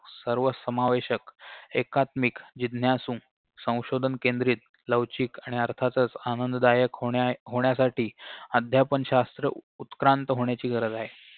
सर्वसमावेशक एकात्मिक जिज्ञासु संशोधनकेंद्रित लवचिक आणि अर्थातच आनंददायक होण्या होण्यासाठी अध्यापनशास्त्र उत्क्रांत होण्याची गरज आहे